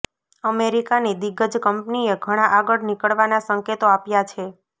અમેરિકાની દિગ્ગજ કંપનીએ ઘણા આગળ નીકળવાના સંકેતો આપ્યા છે